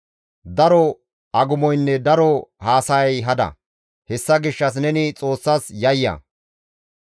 Daro agumoynne daro haasayay hada; hessa gishshas neni Xoossas yayya.